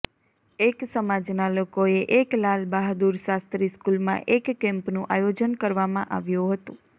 એક સમાજનાં લોકોએ એક લાલબહાદુર શાસ્ત્રી સ્કુલમાં એક કેમ્પનું આયોજન કરવામાં આવ્યું હતું